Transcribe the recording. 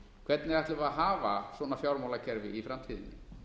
hvernig ætlum við að hafa svona fjármálakerfi í framtíðinni